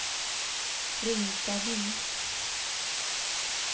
Rinkaby